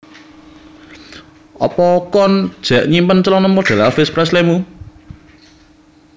Opo koen jek nyimpen celono model Elvis Presley mu?